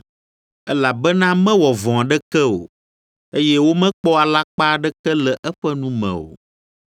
“Elabena mewɔ vɔ̃ aɖeke o, eye womekpɔ alakpa aɖeke le eƒe nu me o.”